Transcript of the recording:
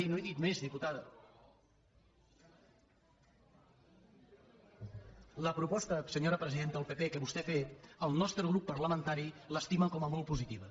no he dit més diputada la proposta senyora presidenta del pp que vostè ha fet el nostre grup parlamentari l’estima com a molt positiva